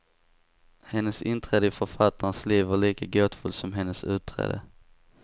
Hennes inträde i författarens liv var lika gåtfullt som hennes utträde.